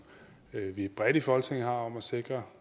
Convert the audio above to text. vi bredt i folketinget har om at sikre